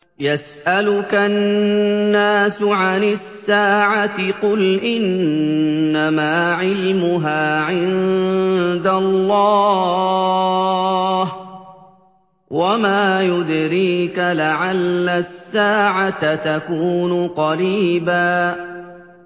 يَسْأَلُكَ النَّاسُ عَنِ السَّاعَةِ ۖ قُلْ إِنَّمَا عِلْمُهَا عِندَ اللَّهِ ۚ وَمَا يُدْرِيكَ لَعَلَّ السَّاعَةَ تَكُونُ قَرِيبًا